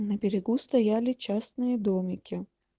на берегу стояли частные домики